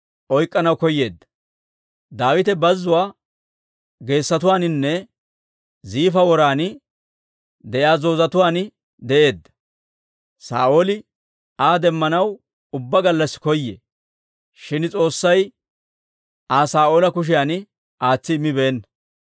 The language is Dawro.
Daawite bazuwaa geesotuwaaninne Ziifa woran de'iyaa zoozetuwaan de'eedda. Saa'ooli Aa demmanaw ubbaa gallassi koyee; shin S'oossay Aa Saa'oola kushiyan aatsi immibeenna.